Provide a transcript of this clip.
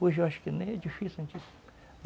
Hoje eu acho que nem é difícil